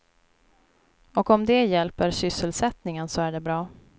Och om det hjälper sysselsättningen så är det bra.